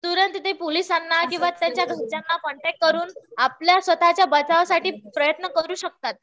तुरंत ते पोलिसांना किंवा त्यांच्या घरच्यांना कॉन्टॅक्ट करून आपल्या स्वतःच्या बचावासाठी प्रयत्न करू शकतात.